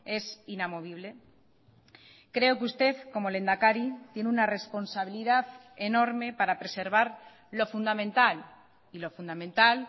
es inamovible creo que usted como lehendakari tiene una responsabilidad enorme para preservar lo fundamental y lo fundamental